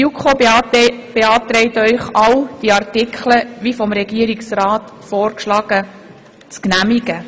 Die JuKo beantragt Ihnen, alle diese Artikel zu genehmigen, wie sie vom Regierungsrat vorgeschlagen wurden.